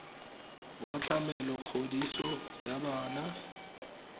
wa tlamelo kgodiso ya bana